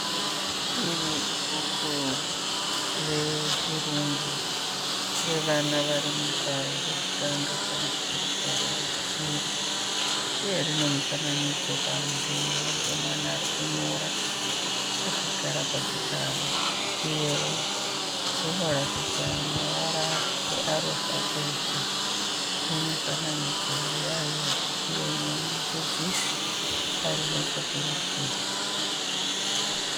Iri ibhuku rechirungu revana vari mugwaro rokutanga kana kuti rugwaro rwechipiri uye rine mufananidzo panze wemwana ari kunyora akagara pachigaro uyewo riratidza mavara earufabheti nemifananidzo yayo uye nemudzidzisi ari nechekurudyi.